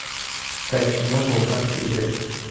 искать кино балканский рубеж